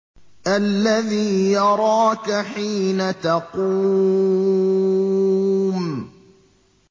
الَّذِي يَرَاكَ حِينَ تَقُومُ